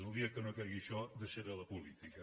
el dia que no cregui això deixaré la política